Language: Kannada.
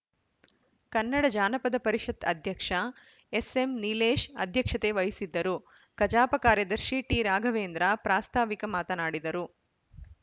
ಕನ್ನಡ ಜಾನಪದ ಪರಿಷತ್‌ ಅಧ್ಯಕ್ಷ ಎಸ್‌ಎಂನೀಲೇಶ್‌ ಅಧ್ಯಕ್ಷತೆ ವಹಿಸಿದ್ದರು ಕಜಾಪ ಕಾರ್ಯದರ್ಶಿ ಟಿರಾಘವೇಂದ್ರ ಪ್ರಾಸ್ತಾವಿಕ ಮಾತನಾಡಿದರು